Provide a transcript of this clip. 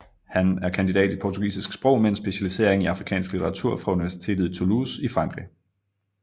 Han er kandidat i portugisisk sprog med en specialisering i afrikansk litteratur fra universitet i Toulouse i Frankrig